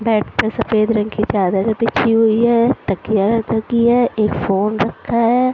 Bed पर सफेद रंग की चादर बिछी हुई है तकिया रखी है एक फोन रखा है ।